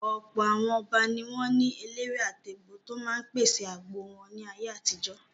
Ọ̀pọ̀ àwọn Ọba ni wọ́n ní eléwé-àtegbò tó máa ń pèsè àgbo wọn ní ayé àtijó.